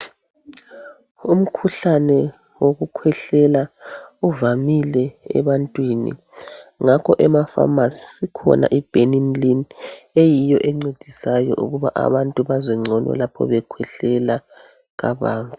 Umkhuhlane wokukhwehlela uvamile ebantwini ngakho emapharmacy ikhona iBenylin eyiyo encedisayo ukuba abantu bazwe ngcono lapho bekhwehlela kabanzi.